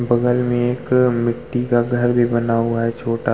बगल में एक मिट्टी का घर भी बना हुआ है छोटा --